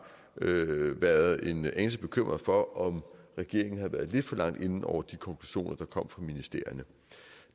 været en anelse bekymret for om regeringen havde været lidt for langt inde over de konklusioner der kom fra ministerierne